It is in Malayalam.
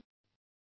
പതിനാലാം ലക്കം